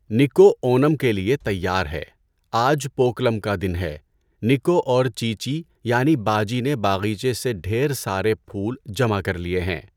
نِکو اونم کے لیے تیار ہے۔ آج پوکلم کا دن ہے۔ نِکو اور چیچی یعنی باجی نے باغیچے سے ڈھیر سارے پھول جمع کر لیے ہیں۔